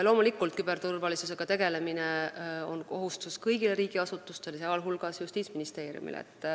Loomulikult, küberturvalisusega tegelemine on kohustus kõigile riigiasutustele, sh Justiitsministeeriumile.